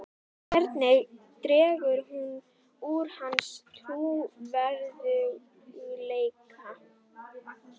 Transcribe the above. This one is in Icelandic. Hvernig dregur þetta úr hans trúverðugleika?